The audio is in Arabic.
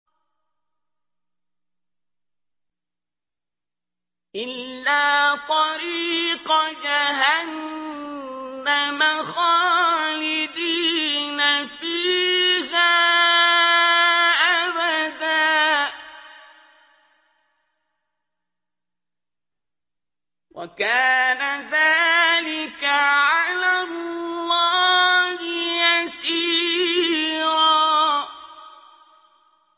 إِلَّا طَرِيقَ جَهَنَّمَ خَالِدِينَ فِيهَا أَبَدًا ۚ وَكَانَ ذَٰلِكَ عَلَى اللَّهِ يَسِيرًا